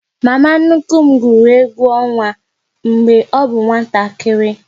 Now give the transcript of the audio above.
Mama nnukwu m gwụrụ egwu ọnwa mgbe ọ bụ nwatakịrị